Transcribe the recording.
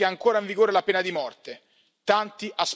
e ricordiamoci che è ancora in vigore la pena di morte.